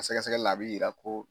sɛgɛsɛgɛli la a bɛ yira ko